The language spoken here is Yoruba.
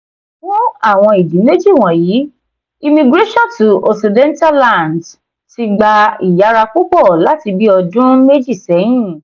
fún àwọn ìdí méjì wọ̀nyí immigration to occidental lands ti gba ìyára púpọ̀ láti bí ọdún méjì sẹ́yìn.